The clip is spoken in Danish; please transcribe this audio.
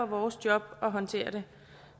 vores job at håndtere det